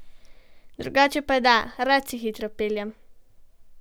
Drugače pa da, rad se hitro peljem.